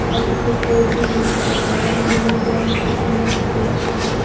और इसपे four G लिखा हुआ है। यह येलो कलर का अंदर से पेंट हुआ है।